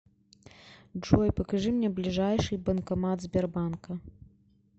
джой покажи мне ближайший банкомат сбербанка